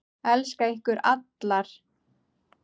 Elska ykkur allar.